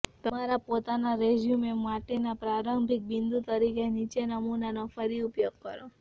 તમારા પોતાના રેઝ્યૂમે માટેના પ્રારંભિક બિંદુ તરીકે નીચેના નમૂનાનો ફરી ઉપયોગ કરો